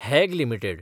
हॅग limited